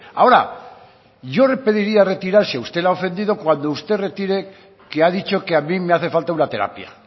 ahora yo le pediría retirarse a usted le ha ofendido cuando usted retire que ha dicho que a mí me hace falta una terapia